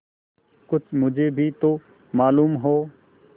कुछ मुझे भी तो मालूम हो